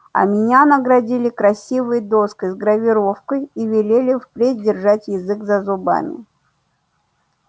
а меня наградили красивой доской с гравировкой и велели впредь держать язык за зубами